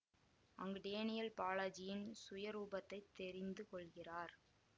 அங்கு டேனியல் பாலாஜியின் சுயரூபத்தை தெரிந்து கொள்கிறார்